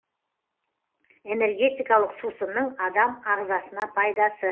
энергетикалық сусынның адам ағзасына пайдасы